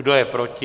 Kdo je proti?